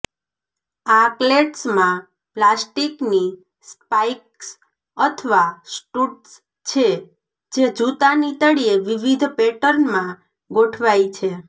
આ ક્લેટ્સમાં પ્લાસ્ટીકની સ્પાઇક્સ અથવા સ્ટુડ્સ છે જે જૂતાની તળિયે વિવિધ પેટર્નમાં ગોઠવાય છે